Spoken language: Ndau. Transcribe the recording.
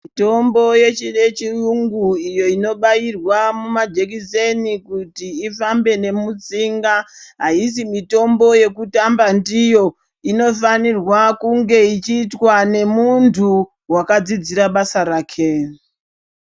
Mutombo yechi-yechiyungu iyo inobayirwa mumajekiseni kuti ifambe nemutsinga aizi mitombo yekutamba ndiyi inofanirwa kunge ichiitwa nemuntu wakadzidzira basa rake.